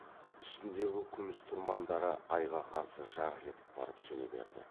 үстіндегі күміс тұрмандары айға қарсы жарқ етіп барып сөне берді